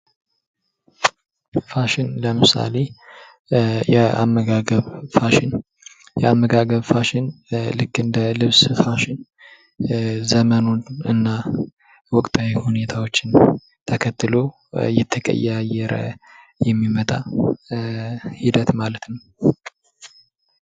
ፋሽን ለምሳሌ፦ የአመጋገብ ፋሽን፦ የአመጋገብ ፋሽን ልክ እንደ ልብስ ፋሽን ዘመኑና ወቅታዊ ሁኔታወችን ተከትሎ እየተቀያየረ የሚመጣ ሂደት ማለት ነው።